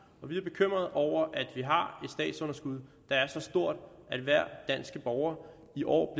og vi er bekymrede over at vi har et statsunderskud der er så stort at hver dansk borger i år